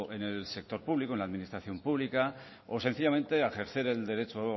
en el sector público en la administración pública o sencillamente a ejercer el derecho